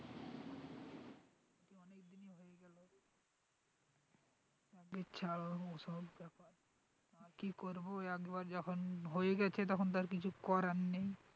ওসব ব্যাপার আর কি করবো একবার যখন হয়ে গেছে তখন তো আর কিছু করার নেই,